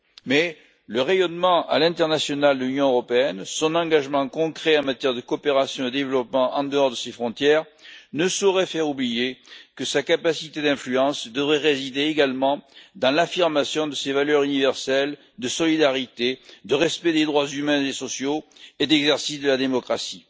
Mais le rayonnement à l'international de l'Union européenne et son engagement concret en matière de coopération au développement en dehors de ses frontières ne sauraient faire oublier que sa capacité d'influence devrait résider également dans l'affirmation de ses valeurs universelles de solidarité, de respect des droits humains et sociaux et d'exercice de la démocratie.